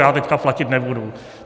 Já teď platit nebudu.